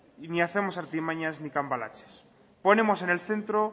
ni hacemos artimañas ni cambalaches ponemos en el centro